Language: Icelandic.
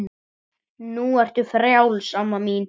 Það hefur engu skilað.